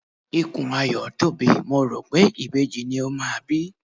Ikùn Ayọ̀ tóbi, mo rò pé ìbejì ni ó máa bí.